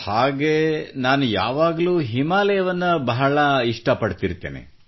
ಹಾಗೆ ನಾನು ಯಾವಾಗಲೂ ಹಿಮಾಲಯವನ್ನು ಬಹಳ ಇಷ್ಟ ಪಡುತ್ತಿರುತ್ತೇನೆ